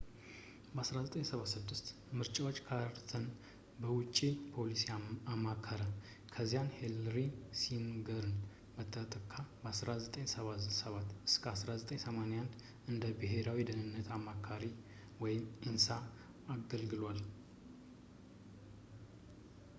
በ1976 ምርጫዎች ካርተርን በውጪ ፖሊሲ አማከረ፣ ከዚያን ሄንሪ ኪሲንገርን በመተካት ከ1977 እስከ 1981 እንደ ብሄራዊ የደህንነት አማካሩnsa አገልግሏል